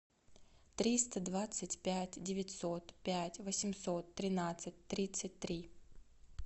триста двадцать пять девятьсот пять восемьсот тринадцать тридцать три